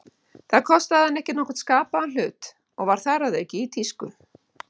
Það kostaði hana ekki nokkurn skapaðan hlut, og var þar að auki í tísku.